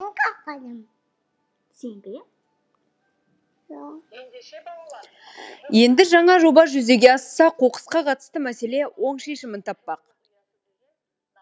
енді жаңа жоба жүзеге асса қоқысқа қатысты мәселе оң шешімін таппақ